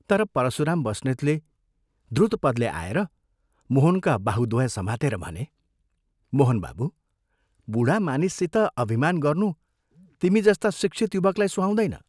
तर परशुराम बस्नेतले द्रुतपदले आएर मोहनका बाहुद्वय समातेर भने, "मोहन बाबू, बूढा मानिससित अभिमान गर्नु तिमी जस्ता शिक्षित युवकलाई सुहाउँदैन?